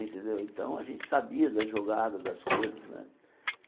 Então, então a gente sabia da jogada das coisas né.